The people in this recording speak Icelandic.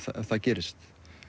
það gerist